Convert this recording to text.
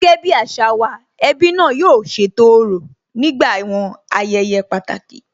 Gẹ́gẹ́ bí àṣà wa, ẹbí náà yóò ṣètò òrò nígbà àwọn ayẹyẹ pàtàkì